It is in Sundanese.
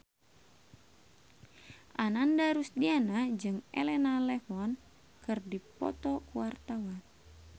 Ananda Rusdiana jeung Elena Levon keur dipoto ku wartawan